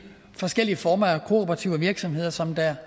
forskellige former for kooperative virksomheder som der